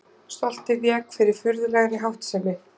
Stoltið vék fyrir furðulegri háttsemi.